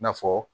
I na fɔ